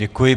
Děkuji.